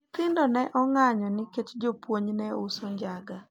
nyithindo ne ong, anyo nikech joupuonj ne uso njaga